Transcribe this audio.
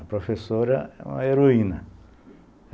A professora era uma heroína.